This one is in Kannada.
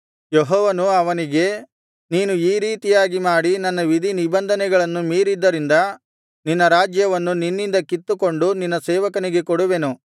ಯೆಹೋವನು ಅವನಿಗೆ ನೀನು ಈ ರೀತಿಯಾಗಿ ಮಾಡಿ ನನ್ನ ವಿಧಿನಿಬಂಧನೆಗಳನ್ನು ಮೀರಿದ್ದರಿಂದ ನಿನ್ನ ರಾಜ್ಯವನ್ನು ನಿನ್ನಿಂದ ಕಿತ್ತುಕೊಂಡು ನಿನ್ನ ಸೇವಕನಿಗೆ ಕೊಡುವೆನು